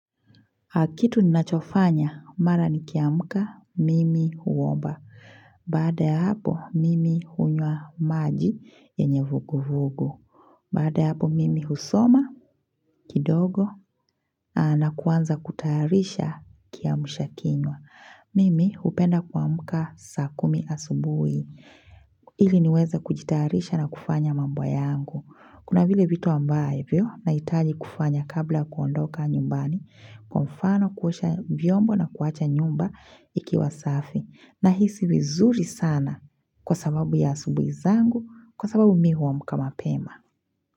Kitu ni nachofanya, mara nikiamka, mimi huomba. Baada ya hapo, mimi hunywa maji yenye vugu vugu. Baada ya hapo, mimi husoma, kidogo, na kuanza kutayarisha kiamsha kinywa. Mimi hupenda kuamka saa kumi asubuhi. Ili niweze kujitayarisha na kufanya mambo yangu. Kuna vile vitu ambavyo, nahitaji kufanya kabla ya kuondoka nyumbani. Kwa mfano kuosha vyombo na kuacha nyumba ikiwa safi nahisi vizuri sana kwa sababu ya asubuhi zangu kwa sababu mi huamka mapema.